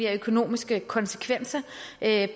af økonomiske konsekvenser